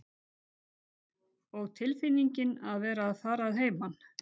Og tilfinningin að vera að fara að heiman.